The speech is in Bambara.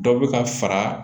Dɔ bɛ ka fara